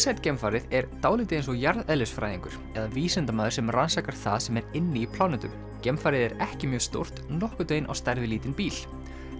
geimfarið er dálítið eins og jarðeðlisfræðingur eða vísindamaður sem rannsakar það sem er inni í plánetum geimfarið er ekki mjög stórt nokkurn veginn á stærð við lítinn bíl